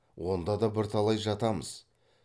онда да бірталай жатамыз